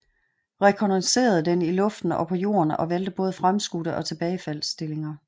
Rekognoscerede den i luften og på jorden og valgte både fremskudte og tilbagefalds stillinger